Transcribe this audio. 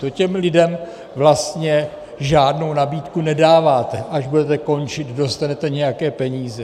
To těm lidem vlastně žádnou nabídku nedáváte - až budete končit, dostanete nějaké peníze.